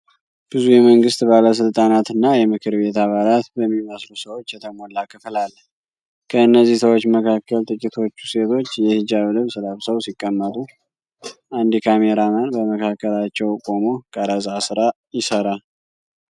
ብዙ የመንግስት ባለስልጣናት እና የምክር ቤት አባላት በሚመስሉ ሰዎች የተሞላ ክፍል አለ። ከእነዚህ ሰዎች መካከል ጥቂቶቹ ሴቶች የሂጃብ ልብስ ለብሰው ሲቀመጡ፣ አንድ ካሜራማን በመካከላቸው ቆሞ የቀረጻ ስራ ይሰራል።